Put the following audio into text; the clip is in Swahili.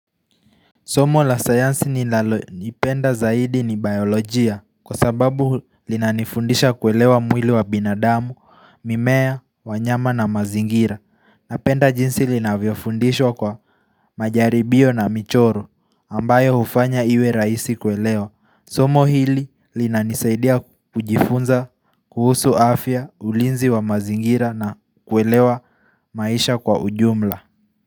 Somo la sayansi ni lalo nipenda zaidi ni biolojia kwa sababu linanifundisha kuelewa mwili wa binadamu, mimea, wanyama na mazingira Napenda jinsi linavyo fundishwa kwa majaribio na michoro ambayo hufanya iwe raisi kuelewa Somo hili linanisaidia kujifunza, kuhusu afya, ulinzi wa mazingira na kuelewa maisha kwa ujumla.